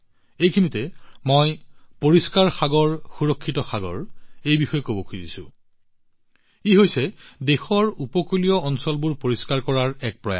ইয়াত মই পৰিষ্কাৰ সাগৰ সুৰক্ষিত সাগৰৰ বিষয়ে কথা পাতিব বিচাৰিছো যি হৈছে দেশৰ উপকূলীয় অঞ্চলবোৰ পৰিষ্কাৰ কৰাৰ এক প্ৰয়াস